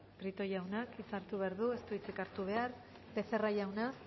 prieto jaunak ez du hitzik hartu behar becerra jauna